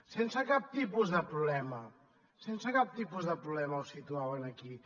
sense cap tipus de problema sense cap tipus de problema el situaven aquí